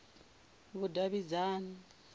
vhudavhidzani